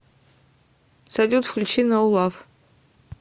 салют включи ноу лав